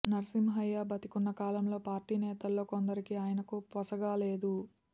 నర్సింహ్మయ్య బతికున్న కాలంలో పార్టీ నేతల్లో కొందరికి ఆయనకు పొసగలేదు